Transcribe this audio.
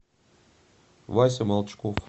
вася молчков